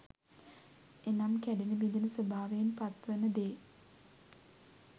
එනම් කැඩෙන බිඳෙන ස්වභාවයෙන් පත්වන දේ